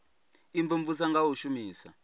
u imvumvusa nga u shumisa